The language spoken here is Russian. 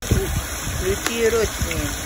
включи ротими